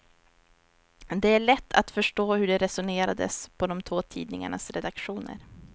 Det är lätt att förstå hur det resonerades på de två tidningarnas redaktioner.